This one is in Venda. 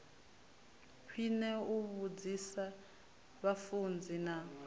khwine u vhudzisa vhafunzi na